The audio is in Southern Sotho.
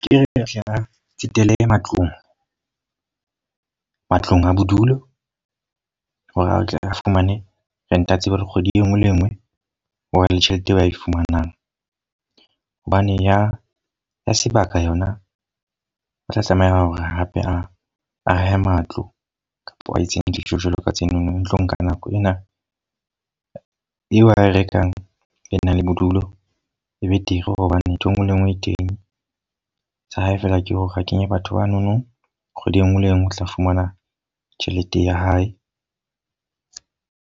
Kehle a tsetele matlong. Matlong a bodulo, hore atle a fumane rent. A tsebe hore kgwedi e nngwe le e nngwe ho ba le tjhelete eo ba e fumanang. Hobane ya ya sebaka yona o tla tlameha hore hape a ahe matlo kapa a itse dijo jwalo ka tsenono. Tlo nka nako ena eo ae rekang ang e nang le bodulo. E betere hobane ntho e nngwe le e nngwe e teng. Sa hae fela ke hore a kenye batho banono. Kgwedi e nngwe le e nngwe o tla fumana tjhelete ya hae.